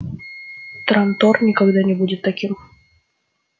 трантор никогда не будет таким